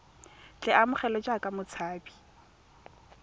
tle a amogelwe jaaka motshabi